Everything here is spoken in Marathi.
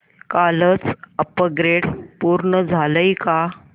कालचं अपग्रेड पूर्ण झालंय का